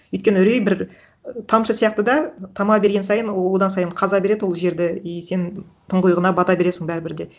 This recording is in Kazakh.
өйткені үрей бір тамшы сияқты да тама берген сайын ол одан сайын қаза береді ол жерді и сен тұңғиығына бата бересің бәрібір де